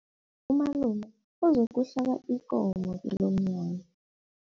Umalume uzokuhlaba ikomo kilomnyanya.